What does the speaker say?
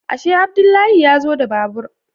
Ashe Abdullahi ya zo da babur